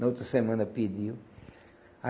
Na outra semana pediam. Aí